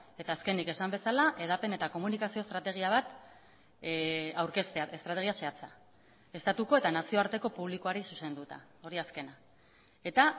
eta azkenik esan bezala hedapen eta komunikazio estrategia bat aurkeztea estrategia zehatza estatuko eta nazioarteko publikoari zuzenduta hori azkena eta